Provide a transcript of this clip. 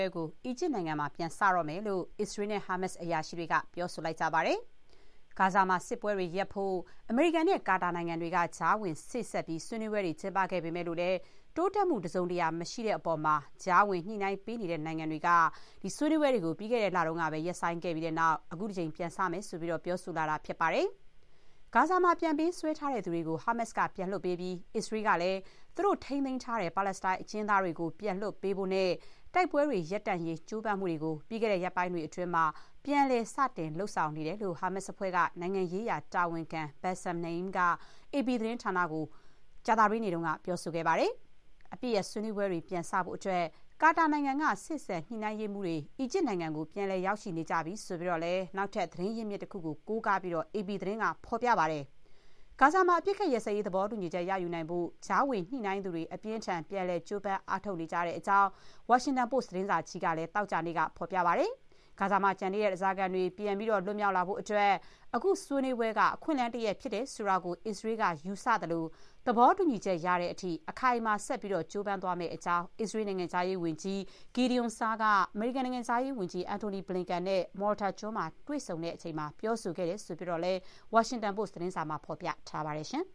ဲကို အီဂျစ်နိုင်ငံမှာ ပြန်စတော့မယ်လို့ အစ္စရေးနဲ့ ဟာမတ်စ် အရာရှိတွေက ပြောဆိုလိုက်ပါတယ်။ ဂါဇာမှာ စစ်ပွဲတွေရပ်ဖို့ အမေရိကန်နဲ့ ကာတာနိုင်ငံတွေက ကြားဝင် စေ့စပ်ပြီး ဆွေးနွေးပွဲတွေ ကျင်းပခဲ့ပေမဲ့ တိုးတက်မှုတစုံတရာ မရှိတဲ့အပေါ် ကြားဝင် ညှိနှိုင်းပေးနေတဲ့နိုင်ငံတွေက ဆွေးနွေးပွဲတွေကို ပြီးခဲ့တဲ့လက ရပ်ဆိုင်းခဲ့ပြီးတဲ့နောက် အခုတကြိမ် ပြန်စမယ့်အကြောင်း ပြောဆိုလာတာ ဖြစ်ပါတယ်။ ဂါဇာမှာ ပြန်ပေးဆွဲထားသူတွေကို ဟာမတ်စ်က ပြန်လွှတ်ပေးပြီး အစ္စရေးကလည်း သူတို့ထိန်းသိမ်းထားတဲ့ ပါလက်စတိုင်း အကျဥ်းသားတွေကို ပြန်လွှတ်ပေးဖို့ နဲ့ တိုက်ပွဲတွေ ရပ်တန့်ရေး ကြိုးပမ်းမှုတွေကို ပြီးခဲ့တဲ့ ရက်ပိုင်းတွေအတွင်း ပြန်လည် စတင် လုပ်ဆောင်နေတယ်လို့ ဟာမတ်စ်အဖွဲ့ နိုင်ငံရေးရာတာဝန်ခံ Bassem Naim က အေပီ သတင်းဌာနကို ကြာသတေးနေ့က ပြောဆိုခဲ့ပါတယ်။ အပစ်ရပ် ဆွေးနွေးပွဲတွေ ပြန်စနိုင်ဖို့အတွက် ကာတာနိုင်ငံက စေ့စပ် ညှိနှိုင်းရေးမှူးတွေ အီဂျစ်နိုင်ငံကို ပြန်လည် ရောက်ရှိနေပြီလို့လည်း နောက်ထပ် သတင်းရင်းမြစ်တခုကို ကိုးကားပြီး အေပီသတင်းက ဖော်ပြပါတယ်။ ဂါဇာမှာ အပစ်အခတ် ရပ်စဲရေး သဘောတူညီချက် ရယူနိုင်ဖို့ ကြားဝင်ညှိနှိုင်းသူတွေ အပြင်းအထန် ပြန်လည် ကြိုးပမ်း အားထုတ် နေကြတဲ့အကြောင်း ဝါရှင်တန်ပို့စ် သတင်းစာကလည်း သောကြာနေ့က ဖော်ပြခဲ့ပါတယ်။ ဂါဇာမှာ ကျန်နေတဲ့ ဓါးစားခံတွေ ပြန်လည် လွတ်မြောက်ရေးအတွက် အခု ဆွေးနွေးပွဲက အခွင့်အလမ်းတရပ် ဖြစ်တယ်ဆိုတာကို အစ္စရေးက ယူဆသလို၊ သဘောတူညီချက် ရတဲ့အထိ အခိုင်အမာ ကြိုးပမ်းသွားမယ့်အကြောင်း အစ္စရေးနိုင်ငံခြားရေး ဝန်ကြီး Gideon Saar က အမေရိကန်နိုင်ငံခြားရေးဝန်ကြီး Antony Blinken နဲ့ Malta ကျွန်းမှာ တွေ့ဆုံချိန် ပြောဆိုခဲ့တယ်လို့လည်း ဝါရှင်တန်ပို့စ် သတင်းစာမှာ ဖော်ပြထားပါတယ်